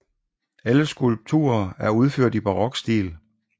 Alle skulpturer er udført i barokstil